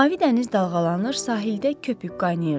Mavi dəniz dalğalanır, sahildə köpük qaynayırdı.